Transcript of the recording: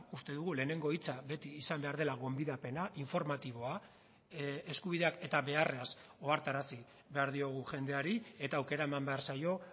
uste dugu lehenengo hitza beti izan behar dela gonbidapena informatiboa eskubideak eta beharrez ohartarazi behar diogu jendeari eta aukera eman behar zaio